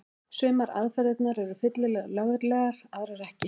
Sumar aðferðirnar eru fyllilega löglegar, aðrar ekki.